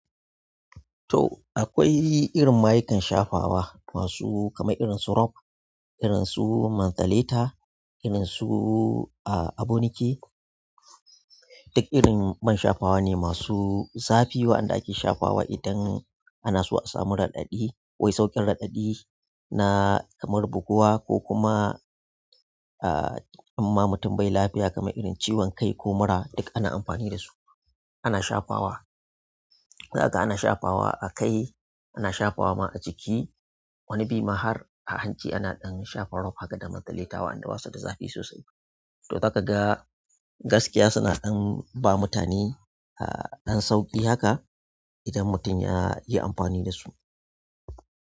To, akwai irin mayukan shafawa masu kamar irin su rob, irin su mantaleta, irin su a--abonike. Duk irin man shafawa ne masu zafi, wa'anda ake shafawa ne idan ana so a samu radadi--wai sauƙin raɗaɗi na kamar buguwa ko kuma in ma mutum bai lafiya kaman irin ciwon kai ko mura, duk ana amfani dasu. Ana shafawa, zaka ga ana shafawa a kai, ana shafawa ma a jiki. Wani bi ma har a hanci ana ɗan shafa rob haka da mantaletawa wa'anda basu da zafi sosai. To, daka ga gaskiya suna ɗan ba mutane, ah, ɗan sauƙi haka idan mutum ya yi amfani da su.